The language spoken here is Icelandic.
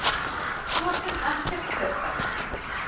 Svo sem ekkert sérstakt.